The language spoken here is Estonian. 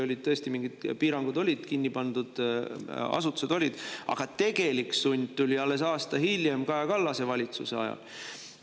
Olid tõesti mingid piirangud, pandi asutusi kinni, aga tegelik sund tuli alles aasta hiljem Kaja Kallase valitsuse ajal.